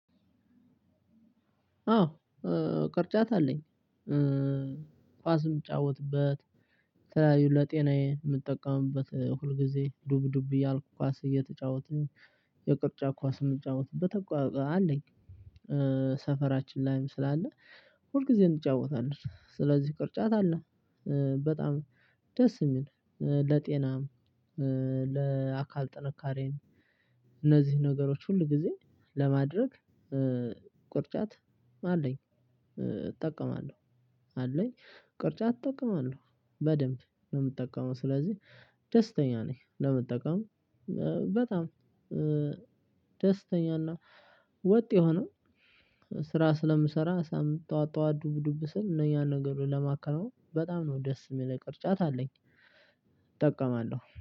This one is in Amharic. አዎ ቅርጫት አለኝ። ኳስ የምጫወትበት የተለያዩ ለጤናዬ የምጠቀምበት ሁልጊዜ ዱብ ዱብ እያልኩ ኳስ እየተጫወትን የቅርጫ ኳስ የምጫወትበት አለኝ። ሰፈራችን ላይም ስላለ ሁል ጊዜ እንጫወታለን ስለዚህ ቅርጫት አለ። በጣም ደስ የሚል ለጤናም ለአካል ጥንካሬም። እነዚህን ነገሮች ሁል ጊዜ ለማድረግ ቅርጫት አለኝ እጠቀማለሁ። አለኝ ቅርጫት እጠቀማለሁ በደንብ ነው የምጠቀመው። ስለዚህ ደስተኛ ነኝ። ለመጠቀም በጣም ደስተኛና ወጥ የሆነ ስራ ስለምሰራ ጠዋት ጠዋት ዱብዱብ ስል ነው። ያን ነገር ለማከናወን በጣም ነው ደስ የሚለኝ ቅርጫት አለኝ። እጠቀማለሁ